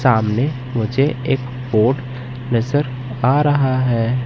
सामने मुझे एक बोट नजर आ रहा है।